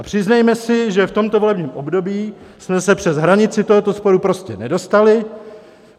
A přiznejme si, že v tomto volebním období jsme se přes hranici tohoto sporu prostě nedostali.